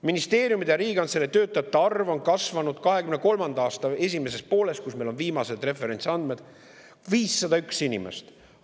Ministeeriumide ja Riigikantselei töötajate arv on kasvanud 2023. aasta esimesest poolest, kust meil on viimased referentsandmed, 501 inimese võrra.